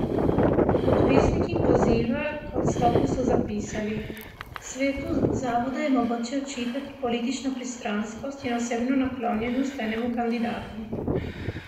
Podpisniki poziva k odstopu so zapisali: "Svetu zavoda je mogoče očitati politično pristranskost in osebno naklonjenost enemu kandidatu.